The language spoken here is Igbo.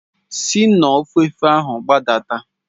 Si n'ofefe ahụ gbadata.